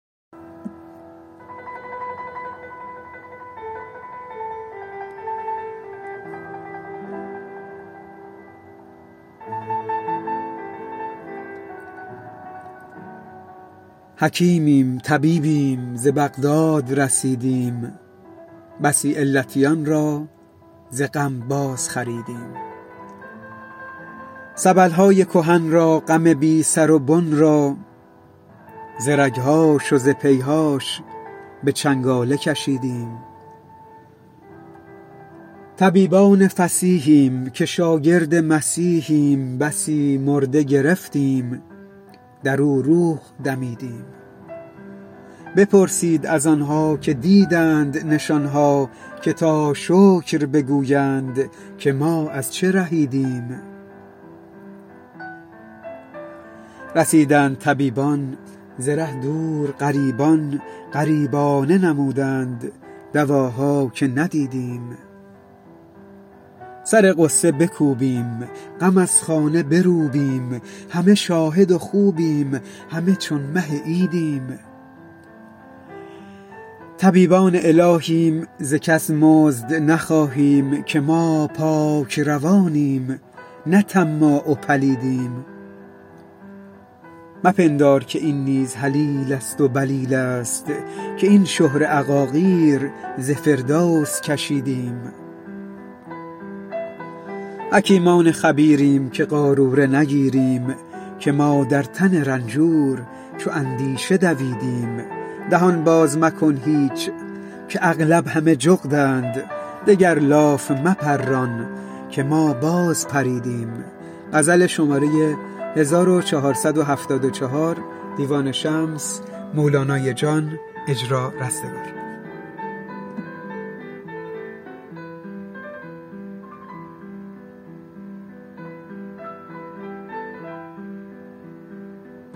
حکیمیم طبیبیم ز بغداد رسیدیم بسی علتیان را ز غم بازخریدیم سبل های کهن را غم بی سر و بن را ز رگ هاش و ز پی هاش به چنگاله کشیدیم طبیبان فصیحیم که شاگرد مسیحیم بسی مرده گرفتیم در او روح دمیدیم بپرسید از آن ها که دیدند نشان ها که تا شکر بگویند که ما از چه رهیدیم رسیدند طبیبان ز ره دور غریبان غریبانه نمودند دواها که ندیدیم سر غصه بکوبیم غم از خانه بروبیم همه شاهد و خوبیم همه چون مه عیدیم طبیبان الهیم ز کس مزد نخواهیم که ما پاک روانیم نه طماع و پلیدیم مپندار که این نیز هلیله ست و بلیله ست که این شهره عقاقیر ز فردوس کشیدیم حکیمان خبیریم که قاروره نگیریم که ما در تن رنجور چو اندیشه دویدیم دهان باز مکن هیچ که اغلب همه جغدند دگر لاف مپران که ما بازپریدیم